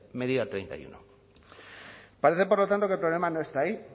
medida treinta y uno parece por lo tanto que el problema no está ahí